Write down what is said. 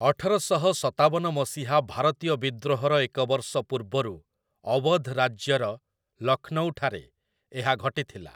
ଅଠରଶହ ସତାବନ ମସିହା ଭାରତୀୟ ବିଦ୍ରୋହର ଏକ ବର୍ଷ ପୂର୍ବରୁ ଅୱଧ ରାଜ୍ୟର ଲକ୍ଷ୍ନୌଠାରେ ଏହା ଘଟିଥିଲା ।